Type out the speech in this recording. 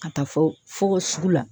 Ka taa fɔ fɔ ko sugu la.